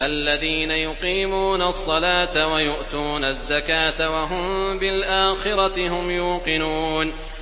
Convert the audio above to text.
الَّذِينَ يُقِيمُونَ الصَّلَاةَ وَيُؤْتُونَ الزَّكَاةَ وَهُم بِالْآخِرَةِ هُمْ يُوقِنُونَ